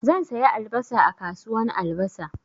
Zan saya albasa a kasuwan albasa.